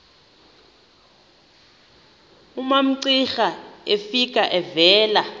umamcira efika evela